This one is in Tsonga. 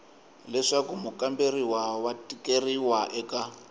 leswaku mukamberiwa wa tikeriwa eka